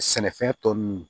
Sɛnɛfɛn tɔ ninnu